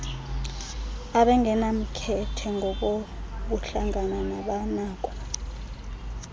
abangenamkhethe ngokobuhlanga nabanako